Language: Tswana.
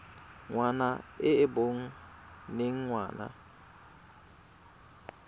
ngwana e e boneng ngwana